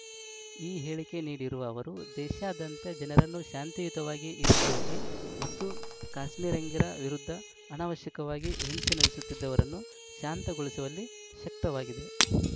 ಈ ಹೇಳಿಕೆ ನೀಡಿರುವ ಅವರು ದೇಶಾದ್ಯಂತ ಜನರನ್ನು ಶಾಂತಿಯುತವಾಗಿ ಇರಿಸುವಲ್ಲಿ ಮತ್ತು ಕಾಶ್ಮೀರಿಗರ ವಿರುದ್ಧ ಅನವಶ್ಯಕವಾಗಿ ಹಿಂಸೆ ನಡೆಸುತ್ತಿದ್ದವರನ್ನು ಶಾಂತಗೊಳಿಸುವಲ್ಲಿ ಶಕ್ತ ವಾಗಿದ್